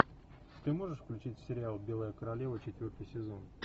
ты можешь включить сериал белая королева четвертый сезон